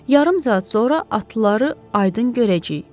Yarım saat sonra atlıları aydın görəcəyik.